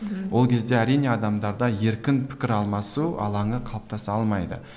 мхм ол кезде әрине адамдарда еркін пікір алмасу алаңы қалыптаса алмайды